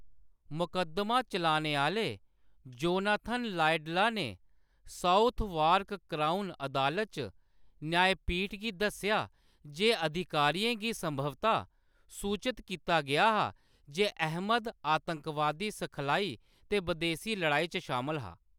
मकद्दमा चलाने आह्‌‌‌ले जोनाथन लाइडला ने साउथवार्क क्राउन अदालत च न्यायपीठ गी दस्सेआ जे अधिकारियें गी संभवतः सूचत कीता गेआ हा जे अहमद आतंकवादी सखलाई ते बदेसी लड़ाई च शामल हा।